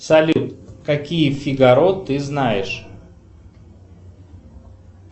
салют какие фигаро ты знаешь